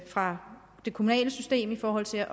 fra det kommunale system i forhold til